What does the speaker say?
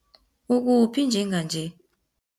Ukuphi njenganje?